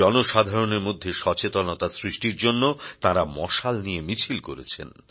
জনসাধারণের মধ্যে সচেতনতা সৃষ্টির জন্য তাঁরা মশাল নিয়ে মিছিল করেছেন